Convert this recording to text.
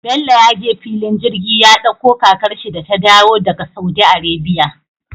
Bello ya je fillin jirgi ya ɗakko kakar shi da ta dayo daka saudi arabia